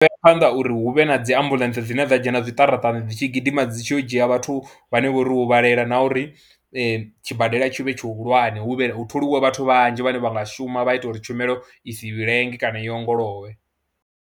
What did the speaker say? u ya phanḓa uri hu vhe na dzi ambuḽentse dzine dza dzhena zwiṱaratani dzi tshi gidima dzi tshi yo u dzhia vhathu vhane vha vha uri vho huvhalelwa na uri tshibadela tshi vhe tshihulwane, hu vhe hu tholiwe vhathu vhanzhi vhane vha nga shuma vha ita uri tshumelo i si lenge kana i ongolowe.